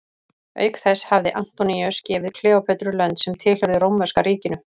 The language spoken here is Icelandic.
Auk þess hafði Antoníus gefið Kleópötru lönd sem tilheyrðu rómverska ríkinu.